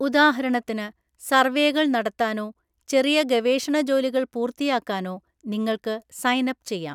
ഉദാഹരണത്തിന്, സർവേകൾ നടത്താനോ ചെറിയ ഗവേഷണ ജോലികൾ പൂർത്തിയാക്കാനോ നിങ്ങൾക്ക് സൈൻ അപ്പ് ചെയ്യാം.